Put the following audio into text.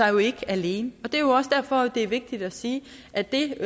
jo ikke alene og det er jo også derfor at det er vigtigt at sige at det